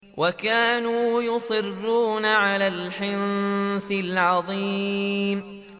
وَكَانُوا يُصِرُّونَ عَلَى الْحِنثِ الْعَظِيمِ